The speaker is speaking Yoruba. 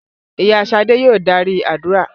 Ìyá Ṣadé yòò darí àdúrà.